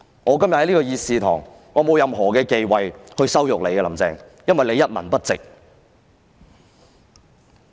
我今天在議事堂內羞辱她，並沒有任何忌諱，因為她一文不值。